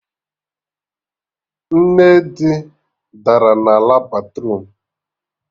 Nne di dara na ala batruum